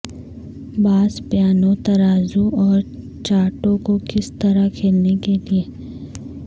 باس piano ترازو اور چارڈوں کو کس طرح کھیلنے کے لئے